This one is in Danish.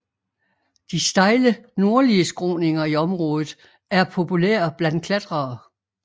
De stejle nordlige skråninger i området er populære blandt klatrere